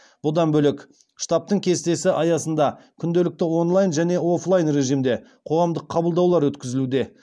бұдан бөлек штабтың кестесі аясында күнделікті онлайн және оффлайн режимде қоғамдық қабылдаулар өткізілуде